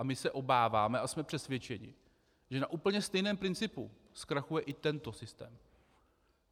A my se obáváme a jsme přesvědčeni, že na úplně stejném principu zkrachuje i tento systém.